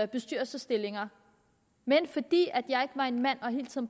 bestyrelsesstillinger men fordi jeg ikke var en mand